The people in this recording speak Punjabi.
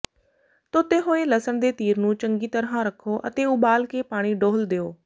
ਧੋਤੇ ਹੋਏ ਲਸਣ ਦੇ ਤੀਰ ਨੂੰ ਚੰਗੀ ਤਰ੍ਹਾਂ ਰਖੋ ਅਤੇ ਉਬਾਲ ਕੇ ਪਾਣੀ ਡੋਲ੍ਹ ਦਿਓ